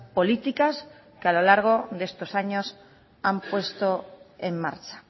políticas que a lo largo de estos años han puesto en marcha